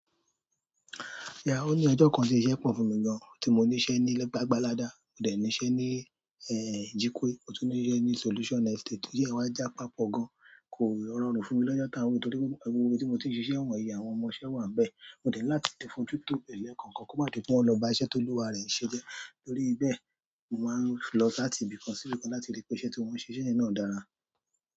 Yeah, o ní ọjọ kan tí iṣẹ́ pọ fún mi gan, tí mo ní iṣẹ́ ní gbagbalada, mo dé ní iṣẹ́ ní Jikwe, mo tún ní iṣẹ́ ní Solution Estate iṣẹ́ yẹn wa ja papọ̀ gan, kò rọrùn fún mi lọ́jọ́ t'awon wi yìí torí, gbogbo ibi tí mo ti nṣe wọn yẹn, àwọn ọmọ iṣẹ́ wa ńbẹ̀. Mo dé láti fún jutọ ẹlẹkan kan kí o gba ti wọn lọ ba iṣẹ́ tí o luwa rẹ ṣe jẹ́. Torí bẹ́ẹ̀, mo máa lọ láti ibì kan sí ibì kan láti rí pé iṣẹ́ tí wọ́n ṣe sí ibè náà dára.